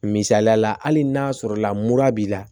Misaliyala hali n'a sɔrɔla mura b'i la